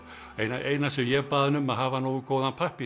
eina eina sem ég bað um var að hafa nógu góðan pappír